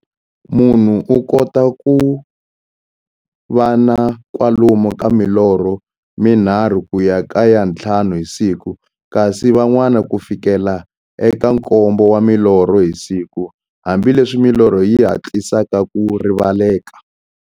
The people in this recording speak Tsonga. Munhu u kota ku va na kwalomu ka milorho mi nharhu ku ya ka ya nthlanu hi siku, kasi van'wana ku fikela eka nkombo wa milorho hi siku, hambileswi milorho yi hatlisaka ku rivaleka.